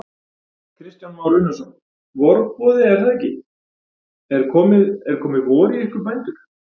Kristján Már Unnarsson: Vorboði er það ekki, er komið, er komið vor í ykkur bændur?